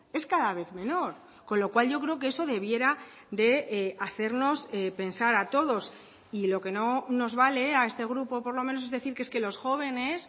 es cada vez menor con lo cual yo creo que eso debiera de hacernos pensar a todos y lo que no nos vale a este grupo por lo menos es decir que es que los jóvenes